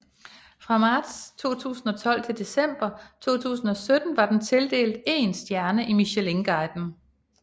Fra marts 2012 til december 2017 var den tildelt én stjerne i Michelinguiden